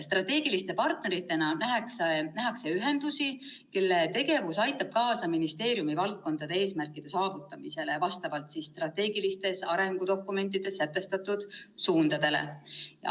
Strateegiliste partneritena nähakse ühendusi, kelle tegevus aitab kaasa ministeeriumi valdkondade eesmärkide saavutamisele vastavalt strateegilistes arengudokumentides sätestatud suundadele.